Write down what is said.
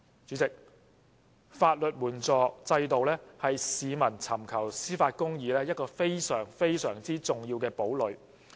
主席，法援制度是市民尋求公義的一個非常、非常重要的堡壘。